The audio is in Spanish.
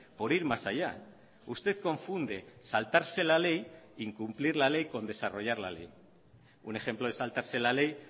por ir más allá usted confunde saltarse la ley incumplir la ley con desarrollar la ley un ejemplo de saltarse la ley